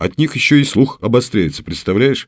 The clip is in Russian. от них ещё и слух обостряется представляешь